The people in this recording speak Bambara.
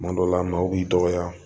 Kuma dɔw la maaw b'i dɔgɔya